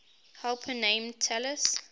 helper named talus